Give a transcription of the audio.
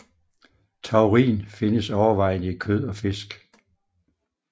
Taurin findes overvejende i kød og fisk